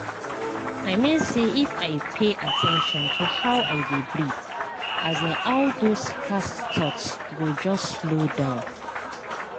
i mean say if i pay at ten tion to how i dey breathe um all those fast thoughts go just slow down.